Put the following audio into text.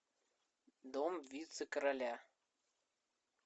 дом вице короля